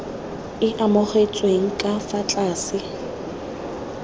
e amogetsweng ka fa tlase